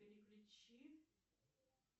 переключи